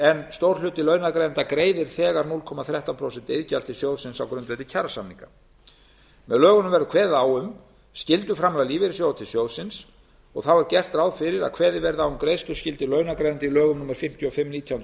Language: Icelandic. en stór hluti launagreiðenda greiðir þegar núll komma þrettán prósent iðgjald til sjóðsins á grundvelli kjarasamninga með lögunum verður kveðið á um skylduframlag lífeyrissjóða til sjóðsins þá er gert ráð fyrir að kveðið verði á um greiðsluskyldu launagreiðenda í lögum númer fimmtíu og fimm nítján